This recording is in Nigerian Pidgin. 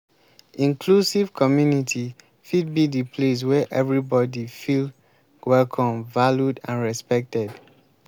inclusive community fit be di place wey everybody feel welcome valued and respected.